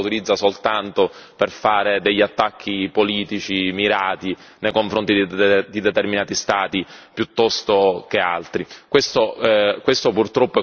spesso e volentieri, c'è una parte di questo Parlamento che lo utilizza soltanto per fare degli attacchi politici mirati nei confronti di determinati Stati piuttosto che altri.